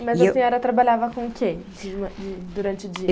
Mas a senhora trabalhava com o quê de ma de durante o dia?